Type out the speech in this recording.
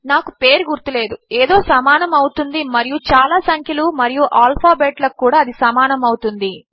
నాకు పేరు గుర్తు లేదు ఏదో సమానము అవుతుంది మరియు చాలా సంఖ్యలు మరియు ఆల్ఫాబెట్ లకు కూడా అది సమానము అవుతుంది